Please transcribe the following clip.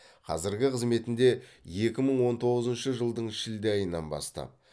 қазіргі қызметінде екі мың он тоғызыншы жылдың шілде айынан бастап